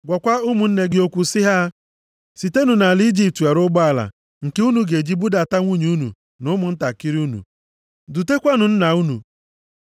“Gwakwa ụmụnne gị okwu sị ha, ‘Sitenụ nʼala Ijipt were ụgbọala, nke unu ga-eji budata ndị nwunye unu na ụmụntakịrị unu. Dutekwanụ nna unu.